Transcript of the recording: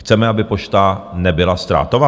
Chceme, aby Pošta nebyla ztrátová?